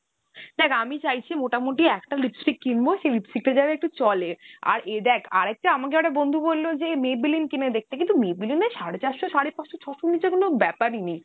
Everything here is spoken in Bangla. দ্যাখ আমি চাইছি মোটামুটি একটা lipstick কিনবো, সেই lipstick টা যেন একটু চলে। আর এ দ্যাখ আর একটা আমাকে একটা আমার বন্ধু বললো যে Maybelline কিনে দেখতে কিন্তু Maybelline এ তো সাড়ে চারশো সাড়ে পাঁচশোর ছশোর নিচে তো কোনো ব্যাপার ই নেই।